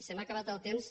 se m’ha acabat el temps